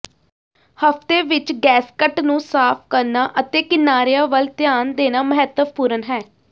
ਹਫ਼ਤੇ ਵਿਚ ਗੈਸਕਟ ਨੂੰ ਸਾਫ਼ ਕਰਨਾ ਅਤੇ ਕਿਨਾਰਿਆਂ ਵੱਲ ਧਿਆਨ ਦੇਣਾ ਮਹੱਤਵਪੂਰਣ ਹੈ